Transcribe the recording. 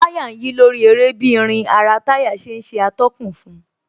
Táyà ń yí lórí eré bí irin ara táyà ṣe ń ṣe atọ́kùn fun